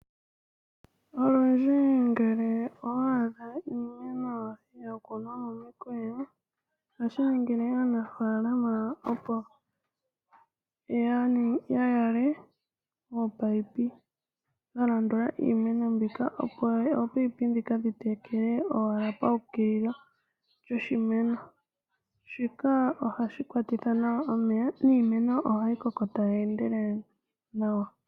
Olundji ngele owa adha iimeno ya kunwa momikweyo, ohashi ningile aanafaala oshipu, opo ya yaleke oopayipi dha landula iimeno mbika, opo oopayipi dhi tekele owala dhu ukilila poshimeno. Shika ohashi kwatitha nawa omeya niimeno ohayi koko tayi endelele nawa.